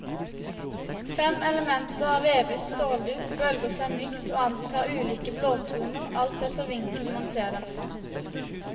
Fem elementer av vevet stålduk bølger seg mykt og antar ulike blåtoner alt etter vinkelen man ser dem fra.